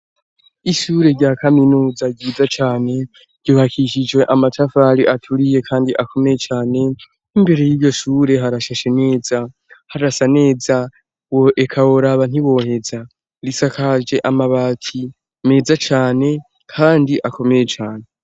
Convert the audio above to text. Ishure rya kaminuza ryiza cane ryubakishijwe amatafari aturiye kandi akomeye cane n'imbere yiryo shure harashashe neza harasa neza eka woraba ntiwoheza risakaje amabati meza cane kandi akomeye cane.